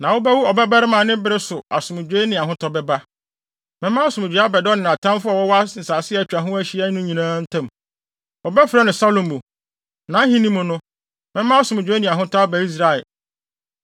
Na wobɛwo ɔbabarima a ne bere so asomdwoe ne ahotɔ bɛba. Mɛma asomdwoe abɛda ɔne nʼatamfo a wɔwɔ nsase a atwa ha ahyia no nyinaa ntam. Wɔbɛfrɛ no Salomo. Nʼahenni mu no, mɛma asomdwoe ne ahotɔ aba Israel.